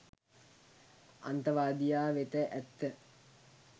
අන්තවාදියා වෙත ඇත්ත .